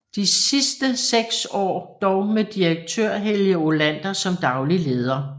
De sidste 6 år dog med Direktør Helge Olander som daglig leder